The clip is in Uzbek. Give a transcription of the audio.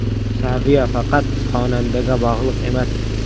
Saviya faqat xonandaga bog‘liq emas.